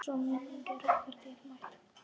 Sú minning er okkur dýrmæt.